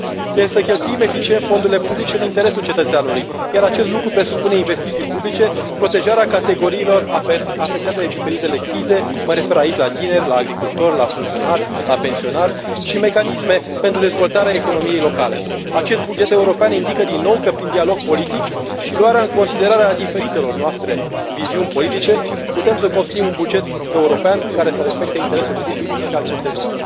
Trebuie să cheltuim eficient fondurile publice în interesul cetățeanului, iar acest lucru presupune investiții publice, protejarea categoriilor afectate de diferitele crize mă refer aici la tineri, la agricultori, la funcționari, la pensionari, și mecanisme pentru dezvoltarea economiei locale. Acest buget european indică, din nou, că prin dialog politic și luarea în considerare a diferitelor noastre viziuni politice putem să construim un buget european care să reflecte interesul public și al cetățenilor.